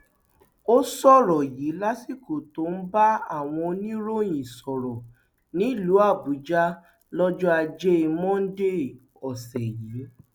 ó sọrọ yìí lásìkò tó ń bá àwọn oníròyìn sọrọ nílùú àbújá lọjọ ajé monde ọsẹ yìí